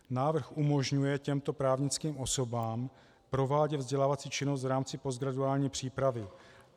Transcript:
Návrh umožňuje těmto právnickým osobám provádět vzdělávací činnost v rámci postgraduální přípravy.